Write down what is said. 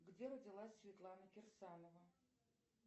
где родилась светлана кирсанова